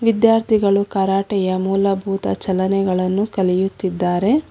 ವಿದ್ಯಾರ್ಥಿಗಳು ಕರಾಟೆಯ ಮೂಲಭೂತ ಚಲನೆಗಳನ್ನು ಕಲಿಯುತ್ತಿದ್ದಾರೆ.